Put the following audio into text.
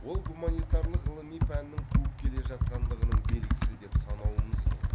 ол гуманитарлық ғылыми пәннің туып келе жатқандығының белгісі деп санауымыз керек